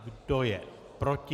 Kdo je proti?